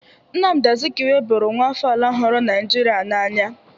Nnamdi Azikiwe bụrụ nwa afọ ala huru Naijiria n'anya.